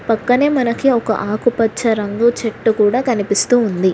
పక్కనే మనకి ఒక ఆకుపచ్చ రంగు చెట్టూ కూడా కనిపిస్తూ ఉంది.